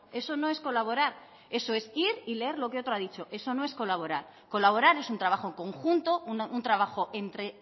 eso no es colaborar eso es ir y leer lo que otro ha dicho eso no es colaborar colaborar es un trabajo conjunto un trabajo entre